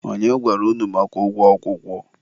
onye gwara unu maka ụgwọ akwụkwọ?